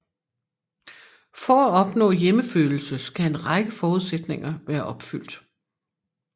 For at opnå hjemmefølelse skal en række forudsætninger være opfyldt